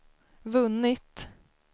vunnit